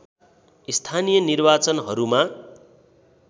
स्थानीय निर्वाचनहरूमा